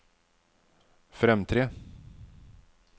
fremtre